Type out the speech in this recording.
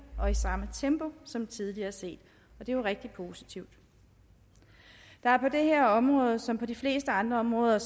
og i samme tempo som tidligere set og det er jo rigtig positivt der er på det her område som på de fleste andre områder